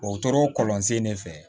O tora kɔlɔn sen ne fɛ